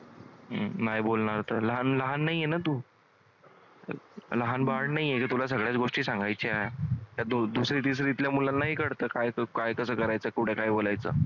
हम्म नाही बोलणार लहान लहान नाहीये ना तू? लहान बाळ नाहीये की तुला गोष्टी सांगायच्या मुलांनाही कळतं कसं करायचं कुठे काय बोलायचं?